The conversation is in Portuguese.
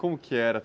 Como que era?